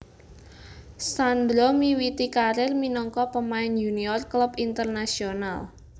Sandro miwiti karir minangka pemain yunior klub Internacional